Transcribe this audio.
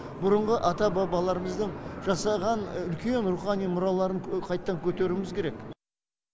бұрынғы ата бабаларымыздың жасаған үлкен рухани мұраларын қайттан көтеруіміз керек